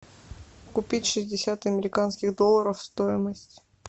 купить шестьдесят американских долларов стоимость